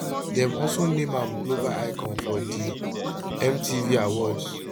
dem also name am global icon for di mtv awards